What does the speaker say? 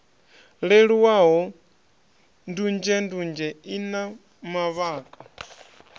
leluwaho ndunzhendunzhe i na mavhaka